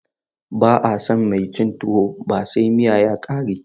Ba'a san mai cin tuwo ba sai miya ya ƙare.